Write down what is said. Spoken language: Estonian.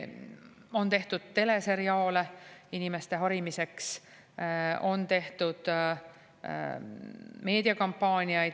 On tehtud teleseriaale inimeste harimiseks, on tehtud meediakampaaniaid.